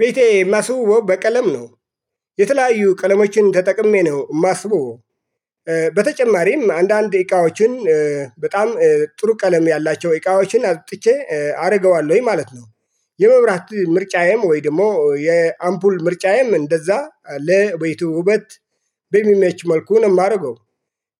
ቤቴ የማስውበው በቀለም ነው የተለያዩ ቀለሞችን ተጠቅሜ ነው የማስውበው። በተጨማሪም አንዳንድ እቃዎችን በጣም ጥሩ ቀለም ያላቸው እቃዎችን አውጥቼ አደርገዋለሁ ወይ ማለት ነው። የመብራት ምርጫዬም ወይ ደግሞ የአምፖል ምርጫዬም እንደዛ ለቤቱ ውበት በሚመች መልኩ ነው የማደርገው።